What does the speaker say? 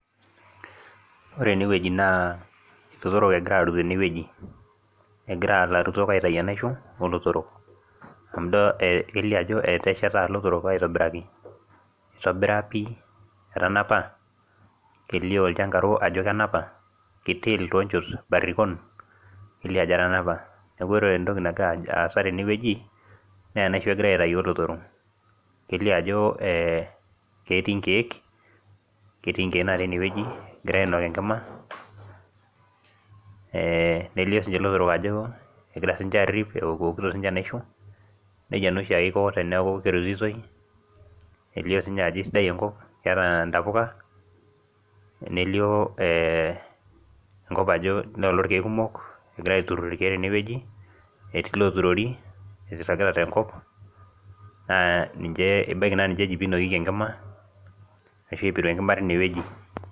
Ore ene wueji. Naa ilotorok egirae aarut tene wueji, egira ilarutok aitayu enaisho oolotorok. amu erishata ajo. ilotorok aitobiraki. etanapa, kelioo ilchankaro ajo kenapa, kitiil toonchot barikon. kelio ajo etanapa. neeku ore entoki nagira aasa tene wueji naa enaisho egirae aitayu oolotorok. kelio ajo ketii nkeek. ketii nkeek natii ene wueji. egirae ainok enkima. nelio sii ninche lotorok ajo egira sii ninche aarip. eokito sii ninche enaisho. nejia naa oshiake Iko teneeku kerutitoi. elio sii ninye ntapuka. nelioo enkop. noolo irkeek kumok . egirae aoturur tene wueji. etii looturuori jragita tenkop. naa niche, ebaiki naa ninche eji pee inokieki enkima. ashu aiteru enkima tine wueji.